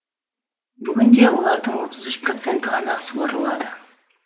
бүгінде олардың отыз үш проценті ғана суарылады